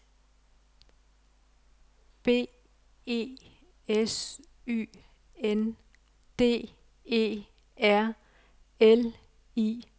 B E S Y N D E R L I G